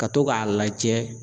Ka to k'a lajɛ